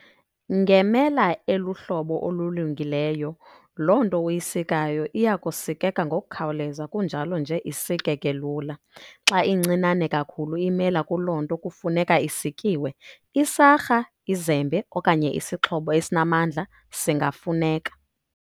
Ngemela eluhlobo olulungileyo, loo nto uyisikayo iyakusikeka ngokukhawuleza kunjalo nje isikeke lula. Xa incinane kakhulu imela kuloo nto kufuneka isikiwe, isarha, izembe, okanye isixhobo esinamandla singafuneka.